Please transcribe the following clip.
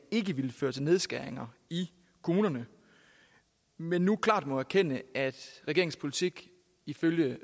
ikke ville føre til nedskæringer i kommunerne men nu klart må erkende at regeringens politik ifølge